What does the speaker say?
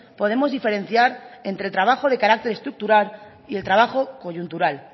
podemos diferenciar entre el trabajo de carácter estructural y el trabajo coyuntural